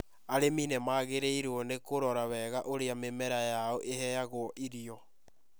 Arĩmi nĩ magĩrĩirũo nĩ kũrora wega ũrĩa mĩmera yao ĩheagwo irio.